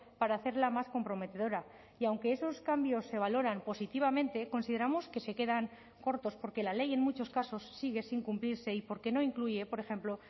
para hacerla más comprometedora y aunque esos cambios se valoran positivamente consideramos que se quedan cortos porque la ley en muchos casos sigue sin cumplirse y porque no incluye por ejemplo